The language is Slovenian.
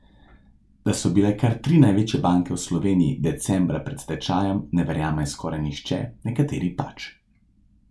Da so bile kar tri največje banke v Sloveniji decembra pred stečajem, ne verjame skoraj nihče, nekateri pač.